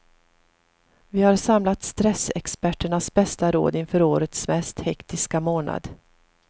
Vi har samlat stressexperternas bästa råd inför årets mest hektiska månad.